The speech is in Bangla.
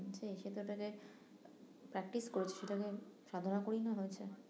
সে সেটাতে যে practice করে সেটাকে সাধনা করেই না করেছে